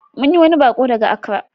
Mun yi wani baƙo daga Accra.